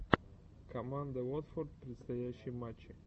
команда уотфорд предстоящие матчи